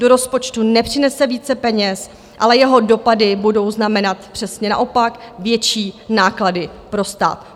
Do rozpočtu nepřinese více peněz, ale jeho dopady budou znamenat přesně naopak, větší náklady pro stát.